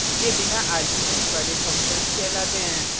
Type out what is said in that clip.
ये बिना arguments वाले functions कहलाते हैं